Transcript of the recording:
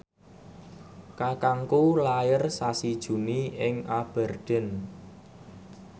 kakangku lair sasi Juni ing Aberdeen